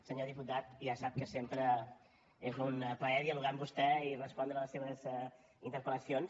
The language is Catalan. senyor diputat ja sap que sempre és un plaer dialogar amb vostè i respondre les seves interpel·lacions